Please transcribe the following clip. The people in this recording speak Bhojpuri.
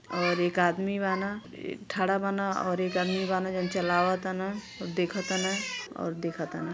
और एक आदमी बान ई ठाड़ा बान और एक आदमी बान जौन चलाव तन और देखत तन और देख तन।